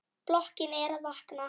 Blokkin er að vakna.